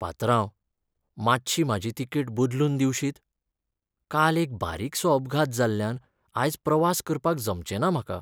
पात्रांव, मातशी म्हाजी तिकेट बदलून दिवशीत? काल एक बारीकसो अपघात जाल्ल्यान आयज प्रवास करपाक जमचें ना म्हाका.